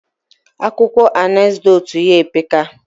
Akuko anecdotes ya epeka